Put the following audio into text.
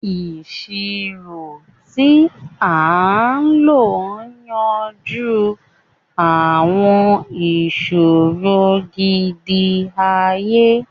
Iṣiro ti a lo n yanju awọn iṣoro gidi-aye,